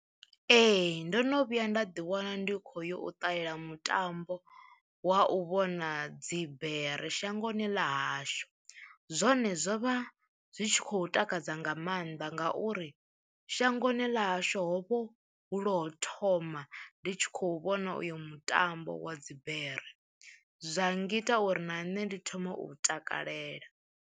Ee ndo no vhuya nda ḓi wana ndi kho yo u ṱalela mutambo wa u vhona dzibere shangoni ḽa hashu, zwone zwo vha zwi tshi khou takadza nga maanḓa ngauri shangoni ḽa hashu hovho hu lwo u thoma ndi tshi khou vhona uyo mutambo wa dzibere, zwa ngita uri na nṋe ndi thome u takalela.